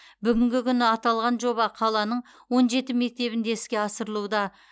бүгінгі күні аталған жоба қаланың он жеті мектебінде іске асырылуда